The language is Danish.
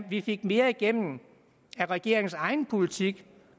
vi fik mere igennem af regeringens egen politik